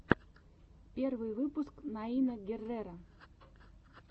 первый выпуск наина герреро